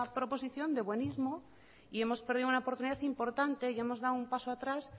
proposición de buenismo y hemos perdido una oportunidad importante y hemos dado un paso atrás